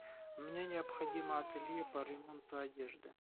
мне необходимо ателье по ремонту одежды